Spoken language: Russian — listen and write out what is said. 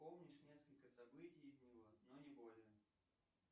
помнишь несколько событий из него но не более